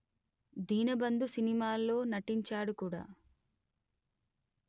దీనబంధు సినిమాలో నటించాడు కూడా